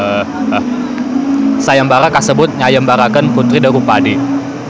Sayembara kasebut nyayembarakeun puteri Drupadi.